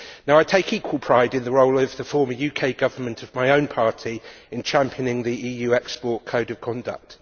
I take equal pride in the role of the former UK Government of my own party in championing the EU export code of conduct.